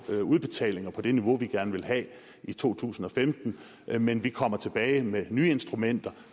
udbetalinger på det niveau vi gerne vil have i to tusind og femten men vi kommer tilbage med nye instrumenter